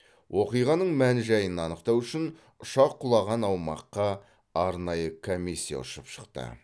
оқиғаның мән жайын анықтау үшін ұшақ құлаған аумаққа арнайы комиссия ұшып шықты